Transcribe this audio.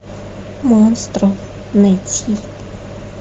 монстро найти